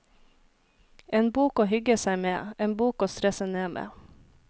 En bok å hygge seg med, en bok å stresse ned med.